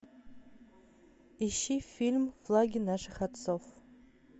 ищи фильм флаги наших отцов